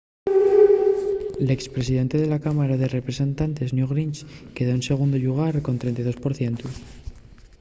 l’ex presidente de la cámara de representantes newt gingrich quedó en segundu llugar col 32 por cientu